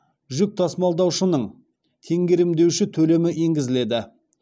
жүк тасымалдаушының теңгерімдеуші төлемі енгізіледі